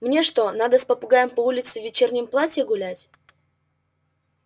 мне что надо с попугаем по улице в вечернем платье гулять